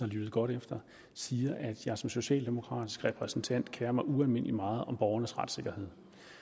lyttet godt efter siger at jeg som socialdemokratisk repræsentant kerer mig ualmindelig meget om borgernes retssikkerhed